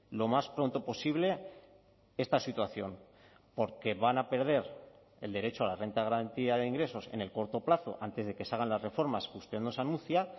lo más pronto posible esta situación porque van a perder el derecho a la renta de garantía de ingresos en el corto plazo antes de que se hagan las reformas que usted nos anuncia